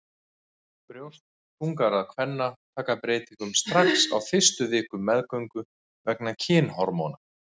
Brjóst þungaðra kvenna taka breytingum strax á fyrstu vikum meðgöngu vegna kynhormóna.